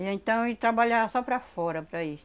E então ele trabalhava só para fora, para